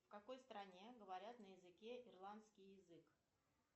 в какой стране говорят на языке ирландский язык